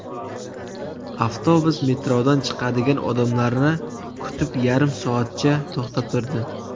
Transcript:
Avtobus metrodan chiqadigan odamlarni kutib yarim soatcha to‘xtab turdi.